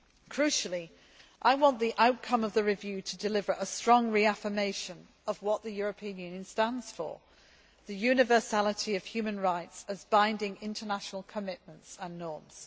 Crucially, I want the outcome of the review to deliver a strong reaffirmation of what the EU stands for the universality of human rights as binding international commitments and norms.